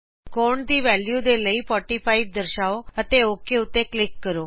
ਕੋਣ ਦੀ ਵੈਲਯੂ ਦੇ ਲਈ 45 ਦਰਸ਼ਾਓ ਅਤੇ ਓਕ ਕਲਿਕ ਕਰੋ